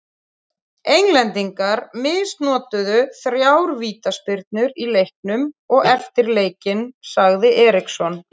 Englendingar misnotuðu þrjár vítaspyrnur í leiknum og eftir leikinn sagði Eriksson.